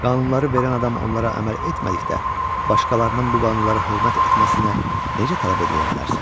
Qanunları verən adam onlara əməl etmədikdə, başqalarının bu qanunlara hörmət etməsinə necə tələb eləyə bilərsən?